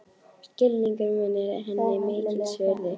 Skilningur minn er henni mikils virði.